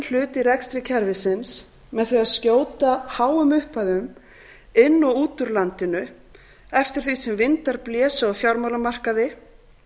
hlut í rekstri kerfisins með því að skjóta háum upphæðum inn og út úr landinu eftir því sem vindar blésu á fjármálamarkaði